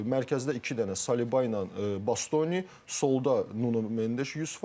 Mərkəzdə iki dənə Saliba ilə Bastoni, solda Nuno Mendes 100%.